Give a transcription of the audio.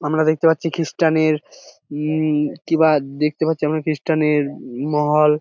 আমরা দেখতে পারছি খ্রিস্টান -এর উমম কিবা দেখতে পারছি খ্রিস্টান -এর মহল ।